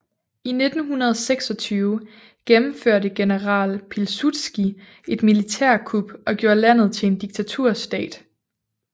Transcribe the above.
I 1926 gennemførte general Pilsudski et militærkup og gjorde landet til en diktaturstat